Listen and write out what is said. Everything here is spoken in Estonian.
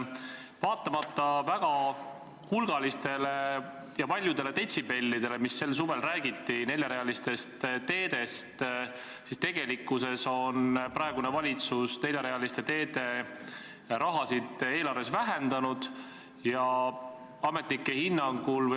Vaatamata väga hulgalistele detsibellidele, millega sel suvel neljarealistest teedest räägiti, on praegune valitsus neljarealiste teede raha eelarves tegelikult vähendanud.